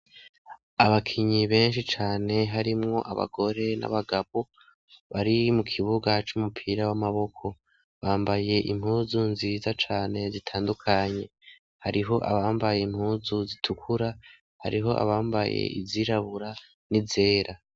Abakinyi benshi cane harimwo abagore n'abagabo bari mu kibuga c'umupira w'amaboko bambaye impuzu nziza cane zitandukanye hariho abambaye impuzu zitukura hariho abambaye izirabura ni zera.